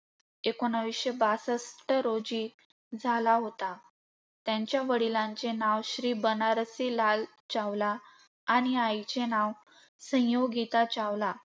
एकोणीसशे बासष्ठ रोजी झाला होता. त्यांच्या वडिलांचे नाव श्री बनारसी लाल चावला आणि आईचे नाव संयोगीता चावला.